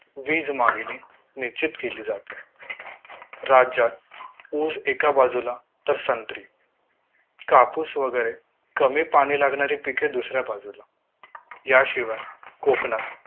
वीज मागणी निश्चित केली जाते राज्यात ऊस एका बाजूला तर संत्री कापूस वगैरे कमी पाणी लागणारी पिके दुसऱ्या बाजूला याशिवाय कोकणात